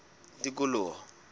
tikoloho